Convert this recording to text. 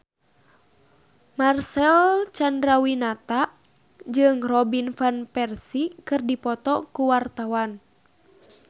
Marcel Chandrawinata jeung Robin Van Persie keur dipoto ku wartawan